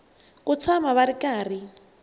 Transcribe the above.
ku tshama va ri karhi